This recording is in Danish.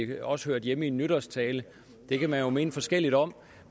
det også hørte hjemme i en nytårstale det kan man jo mene forskelligt om